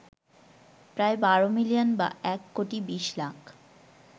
প্রায় ১২ মিলিয়ন বা এক কোটি বিশ লাখ